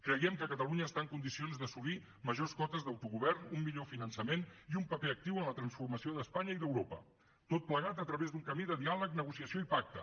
creiem que catalunya està en condicions d’assolir majors cotes d’autogovern un millor finançament i un paper actiu en la transformació d’espanya i d’europa tot plegat a través d’un camí de diàleg negociació i pacte